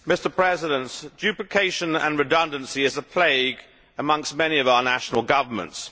Mr President, duplication and redundancy is a plague amongst many of our national governments.